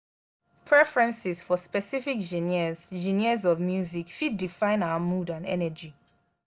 preferences for specific genres genres of music fit define our mood and energy.